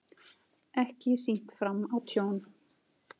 Ekki sýnt fram á tjón